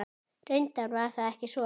Reyndar var það ekki svo.